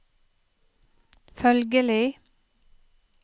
følgelig